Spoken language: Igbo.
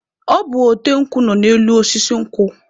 Ọ bụ ote nkwụ nọ n'elu osisi nkwụ.